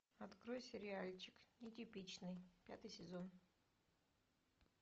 открой сериальчик нетипичный пятый сезон